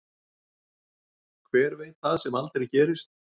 Hver veit það sem aldrei segist.